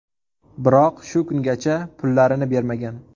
Biroq, shu kungacha pullarini bermagan.